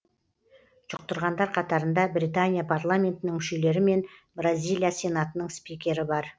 жұқтырғандар қатарында британия парламентінің мүшелері мен бразилия сенатының спикері бар